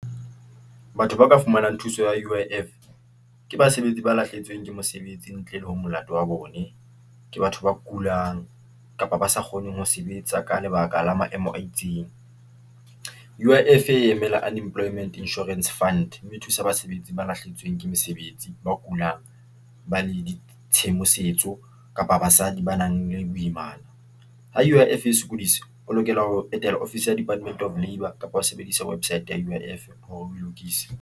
Batho ba ka fumanang thuso ya U _I _F ke basebetsi ba lahlehetsweng ke mosebetsi ntle le ho molato wa bone. Ke batho ba kulang kapa ba sa kgoneng ho sebetsa ka lebaka la maemo a itseng. U_ I _F e emela Unemployment Insurance Fund, mme e thusa basebetsi ba lahlehetsweng ke mesebetsi, ba kulang ba le di tshedimosetso kapa basadi ba nang le boimana. Ha U_ I _F e sokodisa o lokela ho etela ofisi ya Department of Labour kapa ho sebedisa website ya U_I_ F ho e lokisa.